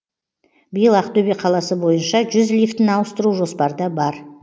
биыл ақтөбе қаласы бойынша жүз лифтіні ауыстыру жоспарда бар